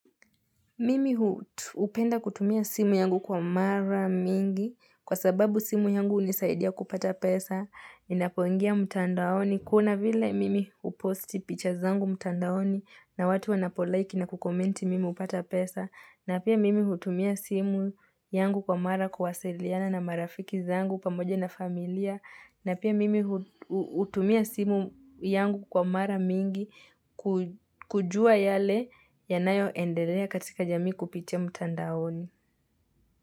Mimi hupenda kutumia simu yangu kwa mara mingi, kwa sababu simu yangu unisaidia kupata pesa, inapoingia mtandaoni, kuna vila mimi uposti pictures zangu mtandaoni, na watu wanapo like na kukomenti mimi upata pesa, na pia mimi utumia simu yangu kwa mara kuwasiliana na marafiki zangu pamoja na familia, na pia mimi utumia simu yangu kwa mara mingi kujua yale yanayo endelea katika jamii kupitia mtandaoni.